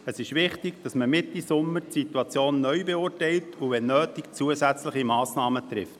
Es ist wichtig, dass man die Situation Mitte Sommer neu beurteilt und wenn nötig zusätzliche Massnahmen ergreift.